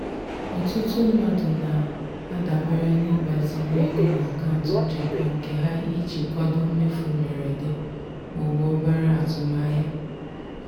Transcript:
ọtụtụ mmadụ na-adabere n'ịgbaziri ego n'akaụntụ nchekwa nke ha iji kwado mmefu mberede ma ọ bụ obere azụmahịa.